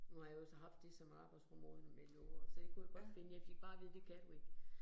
Nu har jeg jo så haft det som arbejdsrum årene med låger, så jeg kunne jeg godt finde, jeg fik bare at vide, det kan du ikke